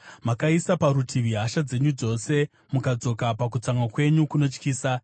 Makaisa parutivi hasha dzenyu dzose, mukadzoka pakutsamwa kwenyu kunotyisa.